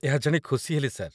ଏହା ଜାଣି ଖୁସି ହେଲି, ସାର୍।